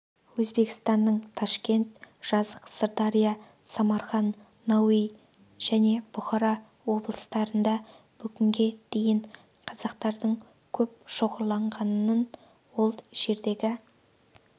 өзбекстанның ташкент жызақ сырдария самарқан науаи және бұхара облыстарында бүгінге дейін қазақтардың көп шоғырланғанын ол жердегі